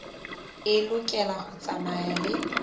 e lokela ho tsamaya le